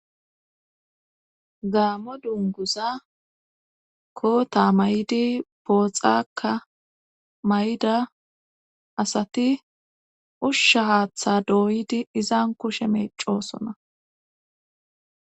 gaamo dunguza koota may7idi booxakka may7ida asati ushsha haaththa dooydi izan kushe meecoosona